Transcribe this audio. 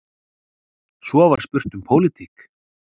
Svo var spurt um pólitík.